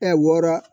wɔɔrɔ